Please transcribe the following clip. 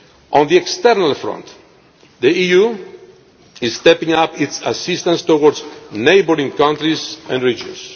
On the external front, the EU is stepping up its assistance to neighbouring countries and